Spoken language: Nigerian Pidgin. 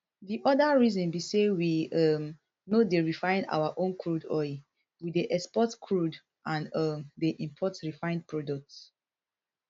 di oda reason be say we um no dey refine our own crude rather we dey export crude and um dey import refined products